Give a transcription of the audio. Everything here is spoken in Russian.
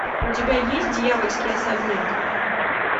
у тебя есть дьявольский особняк